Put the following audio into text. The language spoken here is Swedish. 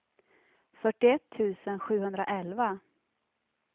fyrtioett tusen sjuhundraelva